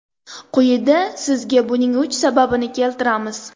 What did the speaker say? Quyida sizga buning uch sababini keltiramiz.